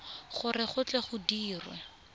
gore go tle go dirwe